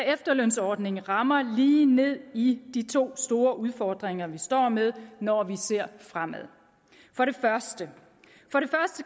efterlønsordningen rammer lige ned i de to store udfordringer vi står med når vi ser fremad for det første